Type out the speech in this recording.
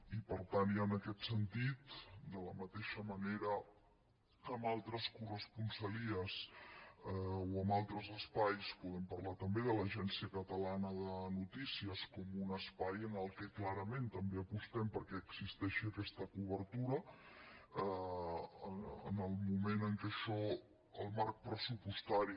i per tant i en aquest sentit de la mateixa manera que en altres corresponsalies o amb altres espais podem parlar també de l’agència catalana de notícies com un espai en què clarament també apostem perquè existeixi aquesta cobertura en el moment en què això el marc pressupostari